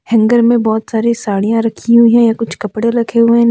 hanger में बहुत सारी साड़ियां रखी हुई है कुछ कपड़े रखे हुए--